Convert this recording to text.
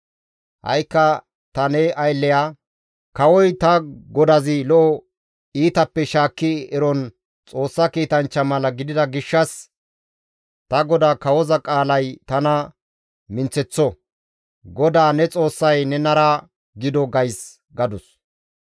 «Ha7ikka ta ne aylleya, ‹Kawoy ta godazi lo7o iitappe shaakki eron Xoossa kiitanchcha mala gidida gishshas ta godaa kawoza qaalay tana minththeththo; GODAA ne Xoossay nenara gido› gays» gadus.